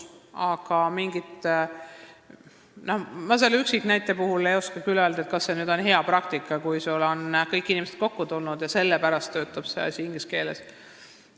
Ma selle üksiknäite kohta ei oska küll öelda, kas see on hea praktika, kui sellisel põhjusel kogu see asi toimub inglise keeles.